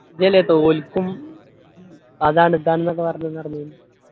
ഇതല്ലെപ്പാ ഓൽക്കും അതാണ് ഇതാണ് ന്നൊക്കെ പറഞ്ഞു